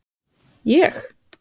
Jakob Frímann Magnússon: Ég?